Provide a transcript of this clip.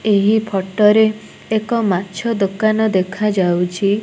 ଏହି ଫୋଟରେ ଏକ ମାଛ ଦୋକାନ ଦେଖାଯାଉଛି।